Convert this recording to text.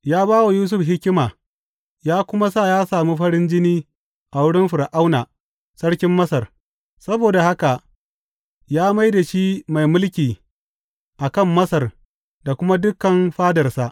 Ya ba wa Yusuf hikima ya kuma sa ya sami farin jini a wurin Fir’auna, sarkin Masar; saboda haka ya mai da shi mai mulki a kan Masar da kuma dukan fadarsa.